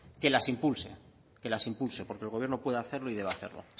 que las impulse porque el gobierno puede hacerlo y debe hacerlo